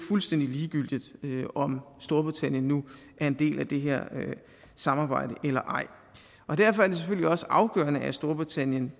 fuldstændig ligegyldigt om storbritannien nu er en del af det her samarbejde eller ej derfor er det selvfølgelig også afgørende at storbritannien